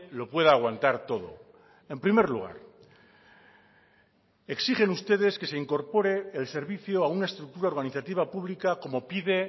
lo pueda aguantar todo en primer lugar exigen ustedes que se incorpore el servicio a una estructura organizativa pública como pide